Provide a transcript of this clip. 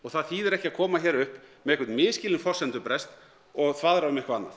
það þýðir ekki að koma hér upp með einhvern misskilinn forsendubrest og þvaðra um eitthvað annað